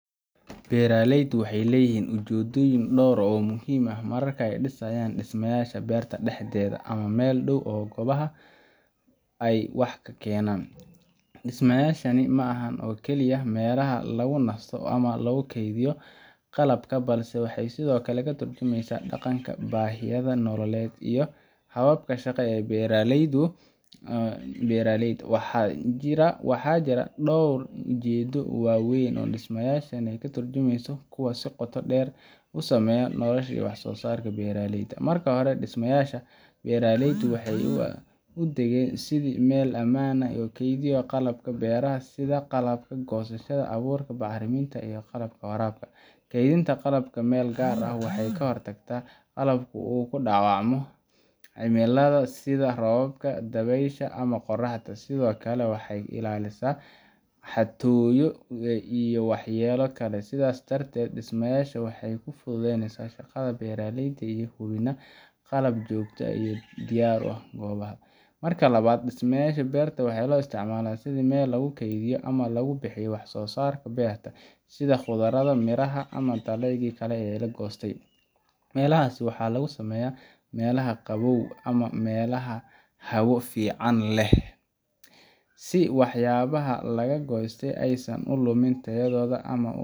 Beeralaydu waxay leeyihiin ujeedooyin dhowr ah oo muhiim ah marka ay dhisayaan dhismayaasha beerta dhexdeeda ama meel u dhow goobaha ay wax ka beeraan. Dhismayaashan ma aha oo kaliya meelaha lagu nasto ama lagu kaydiyo qalabka, balse waxay sidoo kale ka tarjumayaan dhaqanka, baahiyaha nololeed, iyo hababka shaqo ee beeralayda. Waxaa jira dhowr ujeedo oo waaweyn oo dhismayaashaasi ka turjumaan, kuwaas oo si qoto dheer u saameeya nolosha iyo wax-soosaarka beeralayda. Marka hore, dhismayaasha beeralaydu waxay u adeegaan sidii meel ammaan ah oo lagu kaydiyo qalabka beeraha, sida qalabka goosashada, abuurka, bacriminta, iyo qalabka waraabka. Kaydinta qalabka meel gaar ah waxay ka hortagtaa in qalabku uu ku dhaawacmo cimilada, sida roobka, dabaysha ama qorraxda, sidoo kale waxay ka ilaalisaa xatooyo iyo waxyeello kale. Sidaas darteed, dhismayaashan waxay fududeeyaan shaqada beeralayda iyagoo hubinaya qalab joogto ah oo diyaar u ah goor walba. Marka labaad, dhismayaasha beerta waxaa loo isticmaalaa sidii meel lagu keydiyo ama lagu habeeyo wax-soosaarka beerta, sida khudradda, miraha, ama dalagyada kale ee la goostay. Meelahaas waxaa lagu sameeyaa meelaha qabow ama meelaha hawo fiican leh si waxyaabaha laga soo goostay aysan u lumin tayadooda ama